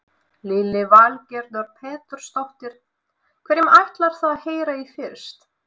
Lillý Valgerður Pétursdóttir: Hverjum ætlar þú að heyra í fyrst?